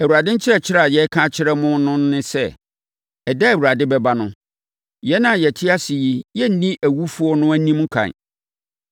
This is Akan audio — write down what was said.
Awurade nkyerɛkyerɛ a yɛreka akyerɛ mo no ne sɛ, ɛda a Awurade bɛba no, yɛn a yɛte ase yi renni awufoɔ no anim ɛkan.